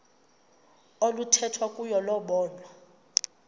oluthethwa kuyo lobonwa